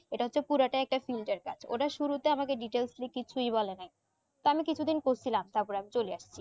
এটা পুরাটা একটা single কাজ ওরা শুরুতেই আমাকে details নিয়ে কিছুই বলে নাই তা আমি কিছু দিন করছিলাম তার পর আমি চলে আসি